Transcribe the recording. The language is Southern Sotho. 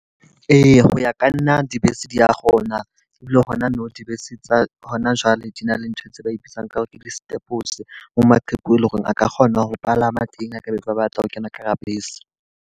Eya, ho ya ka nna dibese di a kgona. Ebile hona nou dibese tsa hona jwale di na le ntho tse ba dibitsang ka hore ke di mo maqheku e leng hore a ka kgona ho palama teng ha ka ba batla ho kena ka hara bese.